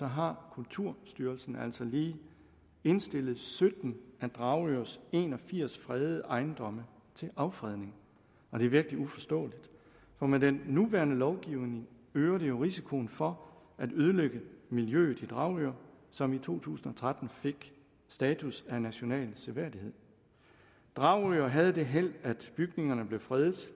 har kulturstyrelsen altså lige indstillet sytten af dragørs en og firs fredede ejendomme til affredning det er virkelig uforståeligt for med den nuværende lovgivning øger det jo risikoen for at ødelægge miljøet i dragør som i to tusind og tretten fik status af national seværdighed dragør havde det held at bygningerne blev fredet